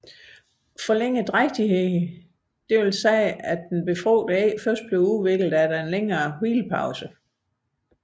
Forlænget drægtighed vil sige at det befrugtede æg først udvikles efter en længere hvilepause